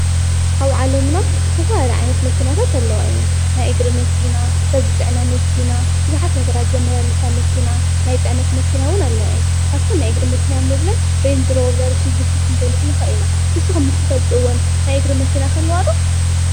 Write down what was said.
ኣብ ዓለምና ዝተፈላለዩ ዓይነታት መኪናታት ኣለዋ እየን፡፡ ናይ እግሪ መኪና ሰብ ዝፅዕነት መኪና ቡዝሓት ነገራት ዘመላልሳ መኪና ናይ ፅዕነት መኪና ዉን ኣለዋ እየን፡፡ ካብተን ናይ እግሪ መኪና እንብለን ናይእንጅሮ ዘመላለሳ ክንገልፅ ንክእል ኢና ፡፡ንስኩም ትፈልጥዎን ናይ እግሪ መኪና ከኣለዋ ዶ?